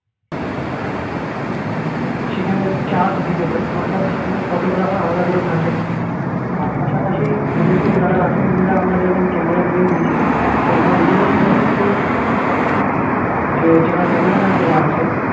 সেখানে charge দিতে হয় অর্থাৎ সেখানে photographer আলাদা করে থাকে আর পাশাপাশি অনেকে যারা আছে নিজেরা আমরা যখন camera নিয়ে গিয়েছিলাম তো আমরা নিজেরাও photo shoot করেছি পাশাপাশি যারা camera man যারা আছে